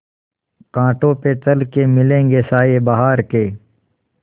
कांटों पे चल के मिलेंगे साये बहार के